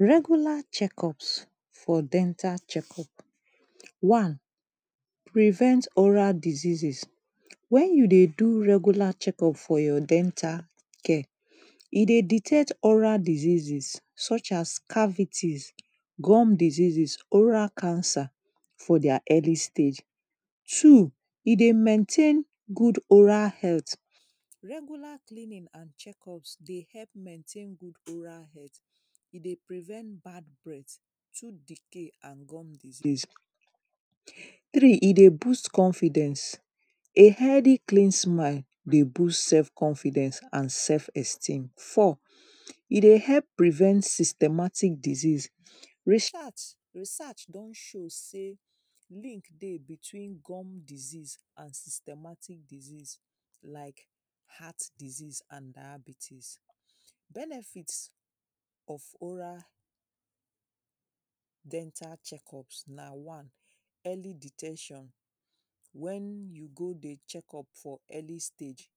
Regular check-up for dental check-up. One, prevent oral diseases. When you dey do regular check-up for your dental care, e dey dictate all oral diseases such as cavities, gum diseases, oral cancer for their early stage. Two, e dey maintain good oral health. Regular cleaning and check-up dey help maintain good oral health. E dey prevent bad breath, tooth decay and gum disease. Three, e dey boost confidence. A healthy clean mind dey boost self confidence and self esteem. Four, e dey help prevent systematic disease. Research don show sey link dey between gum disease and systematic disease. Like heart disease and diabetis. Benefit of oral dental check-up na, one. Early de ten tion. when you go dey check-up for early stage,